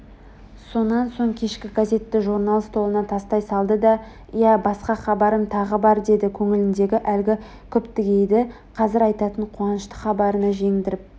сонан соң кешкі газетті журнал столына тастай салды иә басқа хабарым тағы бар деді көңіліндегі әлгі күптігейді қазір айтатын қуанышты хабарына жеңдіріп